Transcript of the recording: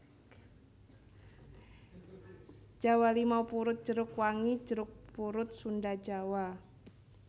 Jawa limau purut jeruk wangi jeruk purut Sunda Jawa